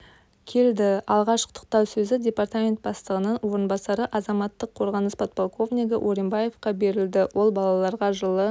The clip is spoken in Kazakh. келді алғаш құттықтау сөзі департамент бастығының орынбасары азаматтық қорғаныс подполковнигі оримбаевқа берілді ол балаларға жылы